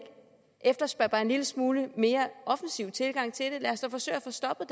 efterspørge bare en lille smule mere offensiv tilgang til det lad os da forsøge at få stoppet